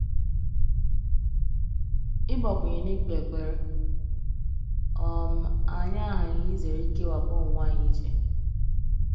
ịgbakwunye n’ikpe ekpere, um anyị aghaghị izere ikewapụ onwe anyị iche.